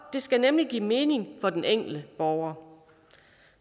de skal nemlig give mening for den enkelte borger